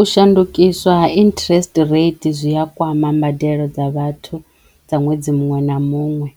U shandukiswa ha interest rate zwi a kwama mbadelo dza vhathu dza ṅwedzi muṅwe na muṅwe